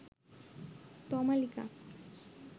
Tamalika